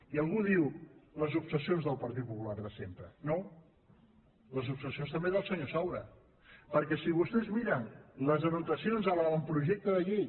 i algú diu les obsessions del partit popular de sempre no les obsessions també del senyor saura perquè si vostès miren les anotacions en l’avantprojecte de llei